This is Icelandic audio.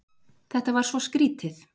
Þetta var svo skrýtið.